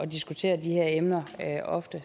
diskutere de her emner ofte